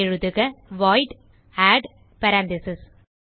எழுதுக void add parentheses